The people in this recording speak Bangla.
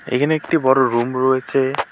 এখানে একটি বড়ো রুম রয়েছে।